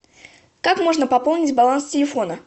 как можно пополнить баланс телефона